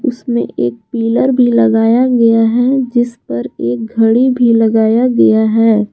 उसमें एक पिलर भी लगाया गया है जिस पर एक घड़ी भी लगाया गया है।